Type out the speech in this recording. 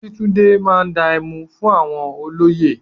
Akíntúndé máa dá ẹmu fún àwọn olóyè.